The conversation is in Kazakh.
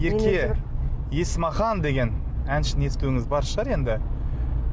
ерке есмахан деген әншіні естуіңіз бар шығар енді